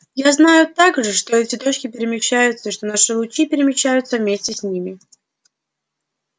я знаю также что эти точки перемещаются и что наши лучи перемещаются вместе с ними